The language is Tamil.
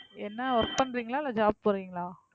என்ன, work பண்றீங்களா? இல்ல job போறீங்களா?